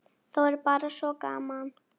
Þá er bara svo gaman.